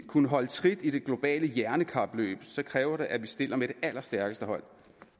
kunne holde trit i det globale hjernekapløb kræver det at vi stiller med det allerstærkeste hold